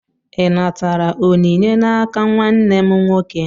Ị natara onyinye n'aka nwanne m nwoke?